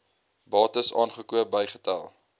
bates aangekoop bygetel